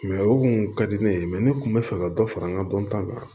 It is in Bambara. o kun ka di ne ye ne kun bɛ fɛ ka dɔ fara n ka dɔnta kan